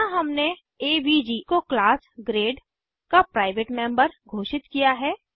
यहाँ हमने एवीजी को क्लास ग्रेड का प्राइवेट मेम्बर घोषित किया है